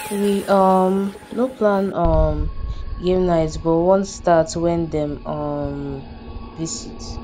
we um no plan um game night but one start when dem um visit